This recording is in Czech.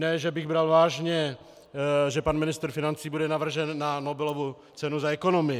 Ne že bych bral vážně, že pan ministr financí bude navržen na Nobelovu cenu za ekonomii.